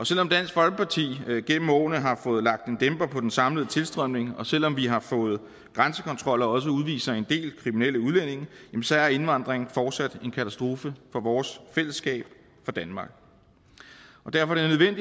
selv om dansk folkeparti gennem årene har fået lagt en dæmper på den samlede tilstrømning og selv om vi har fået grænsekontrol og også udviser en del kriminelle udlændinge så er indvandring fortsat en katastrofe for vores fællesskab for danmark derfor